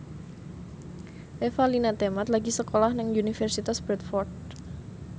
Revalina Temat lagi sekolah nang Universitas Bradford